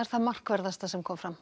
það markverðasta sem kom fram